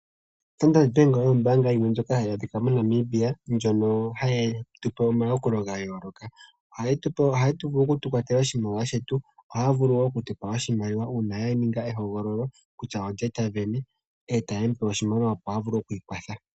Standard bank oyo ombaanga yimwe ndjoka hayi adhikwa moNamibia ndjono hayi tupe omayakulo gayooloka. Ohaya vulu yetu kwatela oshimaliwa shetu, ohaya vulu okutupa oshimaliwa uuna ya ninga ehogolo kutya lye tavene stayed mupe oshimaliwa opo ya vule okwiikwatha.